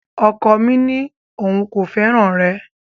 Ọkọ mi ní òun kò fẹ́ràn rẹ